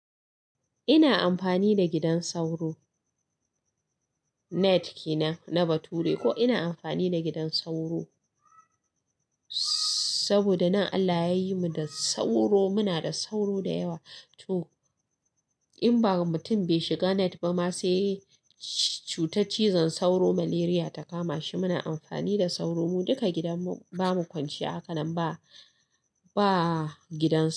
Ina amfani da gidan sauro. Net kenan na bature ko ina amfani da gidan sauro saboda nan Allah yayi mu da sauro. Muna da sauro da yawa to in ba mutum bai shiga net ba ma sai cutar cizon sauro malaria ta kama shi. Muna amfani da sauro mu, duka gidan mu bamu kwanciya hakanan ba, ba gidan sauro.